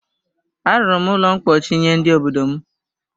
A rụrụ m ụlọ ḿkpóchí nye ndị obodo m